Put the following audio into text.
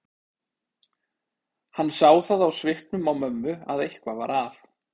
Hann sá það á svipnum á mömmu að eitthvað var að.